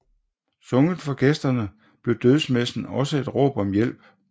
Sunget for gæsterne blev dødsmessen også et råb om hjælp